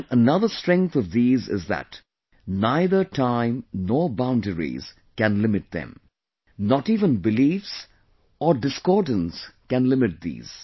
And another strength of these is that neither time nor boundaries can limit them...not even beliefs or discordance can limit these